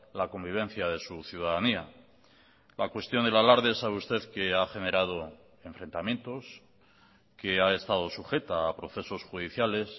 la convivencia de su ciudadanía la cuestión del alarde sabe usted que ha generado enfrentamientos que ha estado sujeta a procesos judiciales